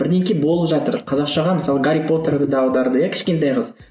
болып жатыр қазақшаға мысалы гарри потерді де аударды иә кішкентай қыз